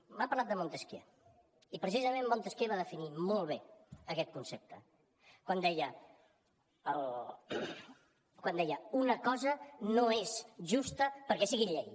m’ha parlat de montesquieu i precisament montesquieu va definir molt bé aquest concepte quan deia una cosa no és justa perquè sigui llei